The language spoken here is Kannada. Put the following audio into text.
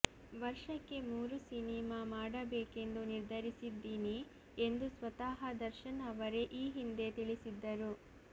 ವರ್ಷಕ್ಕೆ ಮೂರು ಸಿನಿಮಾ ಮಾಡಬೇಕೆಂದು ನಿರ್ಧರಿಸಿದ್ದೀನಿ ಎಂದು ಸ್ವತಃ ದರ್ಶನ್ ಅವರೇ ಈ ಹಿಂದೆ ತಿಳಿಸಿದ್ದರು